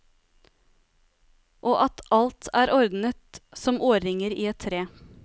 Og at alt er ordnet som årringer i et tre.